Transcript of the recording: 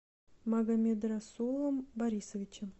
магомедрасулом борисовичем